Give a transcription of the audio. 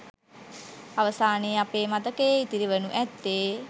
අවසානයේ අපේ මතකයේ ඉතිරි වනු ඇත්තේ